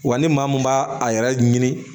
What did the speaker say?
Wa ni maa min b'a a yɛrɛ ɲini